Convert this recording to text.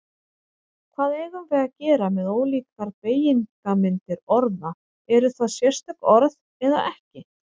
Hvað eigum við að gera með ólíkar beygingarmyndir orða, eru það sérstök orð eða ekki?